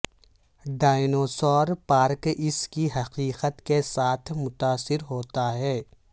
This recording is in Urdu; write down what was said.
ڈایناسور پارک اس کی حقیقت کے ساتھ متاثر ہوتا ہے